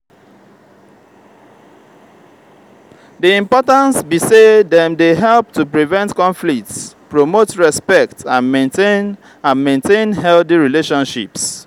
di importance be say dem dey help to prevent conflicts promote respect and maintain and maintain healthy relationships.